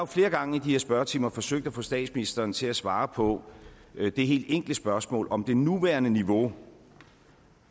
flere gange i de her spørgetimer forsøgt at få statsministeren til at svare på det helt enkle spørgsmål om det nuværende niveau